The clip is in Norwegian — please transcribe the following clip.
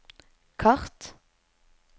kart